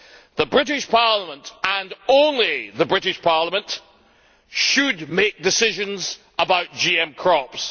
The British Parliament and only the British Parliament should make decisions about GM crops.